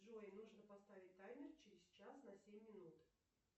джой нужно поставить таймер через час на семь минут